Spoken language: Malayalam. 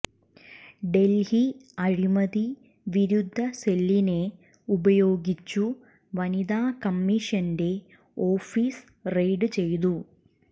ഡൽഹി അഴിമതിവിരുദ്ധ സെല്ലിനെ ഉപയോഗിച്ചു വനിതാ കമ്മീഷന്റെ ഓഫിസ് റെയ്ഡ് ചെയ്തു